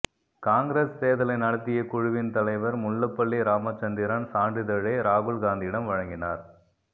காங்கிரஸ் தேர்தலை நடத்திய குழுவின் தலைவர் முல்லப்பள்ளி ராமச்சந்திரன் சான்றிதழை ராகுல் காந்தியிடம் வழங்கினார்